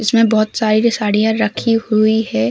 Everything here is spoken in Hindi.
इसमे बहोत साडियां रखी हुई हैं।